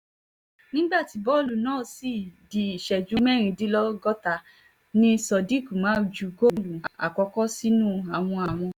nígbà tí bọ́ọ̀lù náà di ìṣẹ́jú mẹ́rìndínlọ́gọ́ta ni sodiq umar ju góòlù àkọ́kọ́ sínú àwọn àwọn